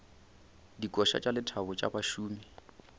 dikoša tša lethabo tša bašomi